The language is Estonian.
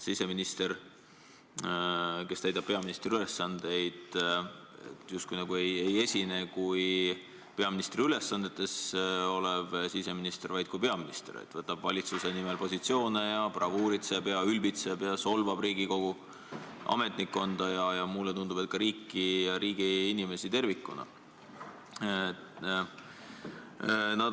Siseminister, kes täidab peaministri ülesandeid, ei esine kui peaministri ülesannetes olev siseminister, vaid kui peaminister, ta võtab valitsuse nimel positsioone, bravuuritseb, ülbitseb ja solvab riigi kogu ametnikkonda ning mulle tundub, et ka riiki ja riigi inimesi tervikuna.